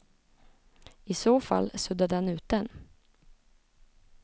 I så fall suddade han ut den.